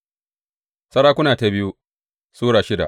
biyu Sarakuna Sura shida